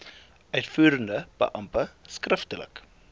uitvoerende beampte skriftelik